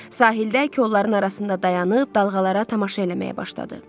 Sahildə kolların arasında dayanıb dalğalara tamaşa eləməyə başladı.